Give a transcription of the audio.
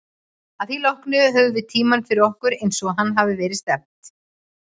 Að því loknu höfðum við tímann fyrir okkur, eins og að hafði verið stefnt.